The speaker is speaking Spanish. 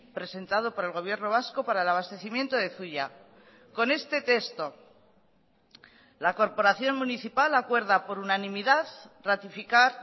presentado por el gobierno vasco para el abastecimiento de zuia con este texto la corporación municipal acuerda por unanimidad ratificar